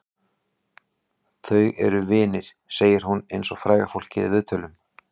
Þau eru vinir, segir hún eins og fræga fólkið í viðtölum.